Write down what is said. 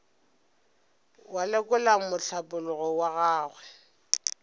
wa lekola mohlapologo wa gagwe